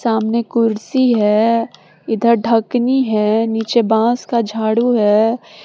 सामने कुर्सी है इधर ढकनी है नीचे बांस का झाड़ू है।